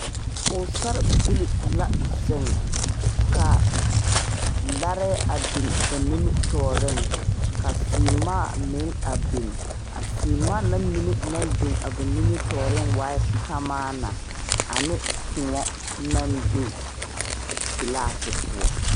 Pɔgesarebilee la ziŋ ka larɛɛ be ba nimitɔɔriŋ ka seemaa meŋ biŋ a seemaa na mine naŋ biŋ a ba nimitɔɔriŋ na waaɛ kamaana ane koɔ naŋ be glasi poɔ.